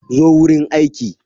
Zo wurin aiki.